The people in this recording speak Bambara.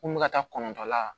Ko n bɛ ka taa kɔnɔntɔn la